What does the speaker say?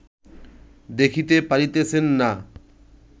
দেখিতে পারিতেছেন না